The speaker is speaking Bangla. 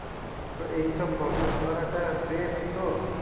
তো এই সব process করাটা safe তো?